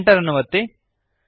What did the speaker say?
Enter ಅನ್ನು ಒತ್ತಿರಿ